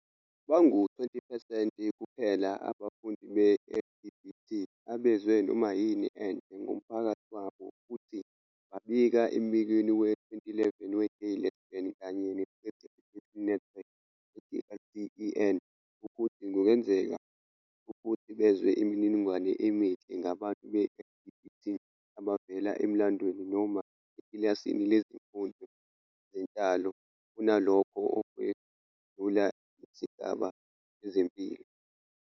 Bangu-20 percent kuphela abafundi be-LGBT abezwe noma yini enhle ngomphakathi wabo futhi babika embikweni we-2011 we-Gay, Lesbian kanye ne-Straight Education Network, GLSEN, wokuthi kungenzeka ukuthi bezwe imininingwane emihle ngabantu be-LGBT abavela emlandweni noma ekilasini lezifundo zenhlalo kunalokho ukwedlula isigaba sezempilo.